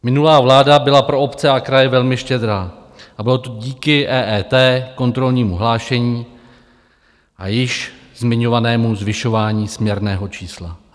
Minulá vláda byla pro obce a kraje velmi štědrá a bylo to díky EET, kontrolnímu hlášení a již zmiňovanému zvyšování směrného čísla.